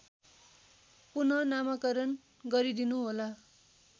पुनःनामाकरण गरिदिनुहोला